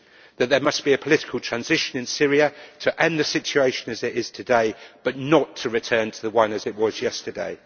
That there must be a political transition in Syria to end the situation as it is today, but not to return to the one as it was yesterday